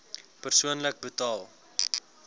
persoonlik betaal